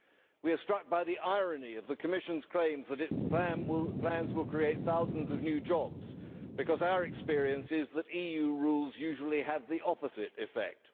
We are struck by the irony of the Commission's claim that its plans will create thousands of new jobs, because our experience is that EU rules usually have the opposite effect.